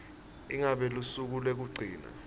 ngabe lusuku lwekugcina